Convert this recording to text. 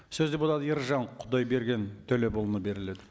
сөз депутат ержан құдайберген төлепұлына беріледі